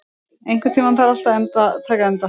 Jagger, einhvern tímann þarf allt að taka enda.